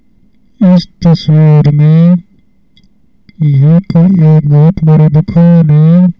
इस तस्वीर में यहां पर यह बहोत बड़ी दुकान है।